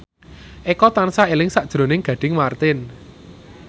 Eko tansah eling sakjroning Gading Marten